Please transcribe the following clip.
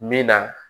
Min na